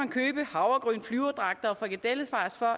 købe havregryn flyverdragter og frikadellefars for